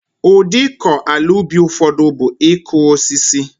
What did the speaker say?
Udi iko ala ubi ufodu bu so iku osisi